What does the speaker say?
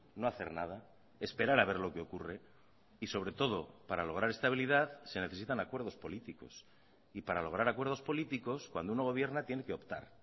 no hacer nada esperar a ver lo que ocurre y sobre todo para lograr estabilidad se necesitan acuerdos políticos y para lograr acuerdos políticos cuando uno gobierna tiene que optar